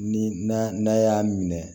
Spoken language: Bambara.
Ni na n'a y'a minɛ